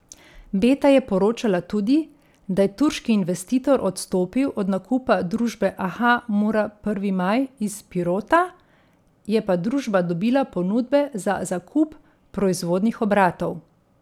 Beta je poročala tudi, da je turški investitor odstopil od nakupa družbe Aha Mura Prvi maj iz Pirota, je pa družba dobila ponudbe za zakup proizvodnih obratov.